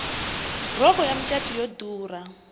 rhoko ya macatu yo durha